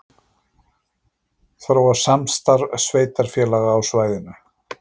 Þróa samstarf sveitarfélaga á svæðinu